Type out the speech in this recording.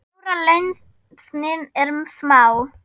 Stóra lausnin er smá!